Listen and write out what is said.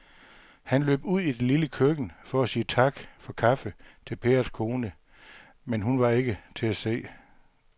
Han løb ud i det lille køkken for at sige tak for kaffe til Pers kone, men hun var ikke til at se.